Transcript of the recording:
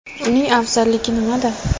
Uning afzalligi nimada?.